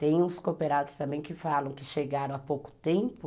Tem uns cooperados também que falam que chegaram há pouco tempo